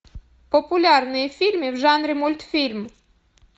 популярные фильмы в жанре мультфильм